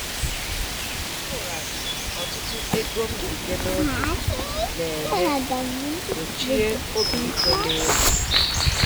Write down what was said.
Ịkwụghachi ọtụtụ ego mbite n'oge na-enye gbochie obi iko n'elu